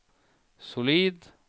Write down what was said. solid